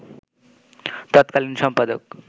তৎকালীন সম্পাদক